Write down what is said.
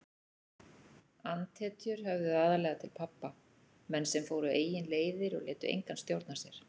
Andhetjur höfðuðu aðallega til pabba, menn sem fóru eigin leiðir og létu engan stjórna sér.